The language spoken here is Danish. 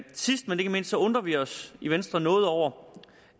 sidst men ikke mindst undrer vi os i venstre noget over